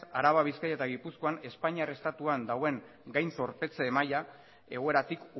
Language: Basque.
araban bizkaian eta gipuzkoan espainiar estatuan dagoen gain zorpetze maila egoeratik